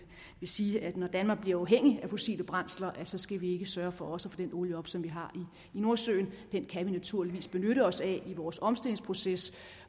sige at når danmark bliver uafhængig af fossile brændsler skal vi ikke sørge for også at få den olie op som vi har i nordsøen den kan vi naturligvis benytte os af i vores omstillingsproces